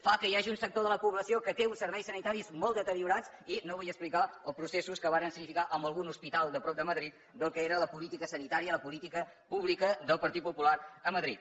fa que hi hagi un sector de la població que té uns serveis sanitaris molt deteriorats i no vull explicar els processos que varen significar en algun hospital de prop de madrid del que era la política sanitària la política pública del partit popular a madrid